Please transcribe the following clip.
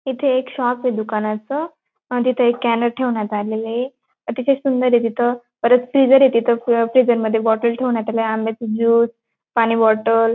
इथे एक शॉप ए दुकानाचं हां तिथं एक ठेवण्यात आलेलंए अतिशय सुंदर आहे तिथ परत फ्रिजर आहे तिथं फ्रिझर मध्ये बॉटल ठेवण्यात आलय आंब्याचं ज्यूस पाणी बॉटल --